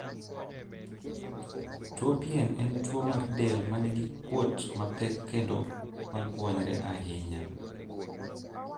Tuo pien en tuo mar del ma nigi kuot mapek kendo ma gwony're ahinya.